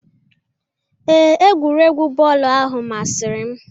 Ee, egwuregwu bọọlụ ahụ masịrị m.